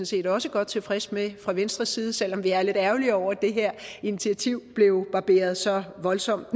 set også godt tilfredse med fra venstres side selv om vi er lidt ærgerlige over at det her initiativ blev barberet så voldsomt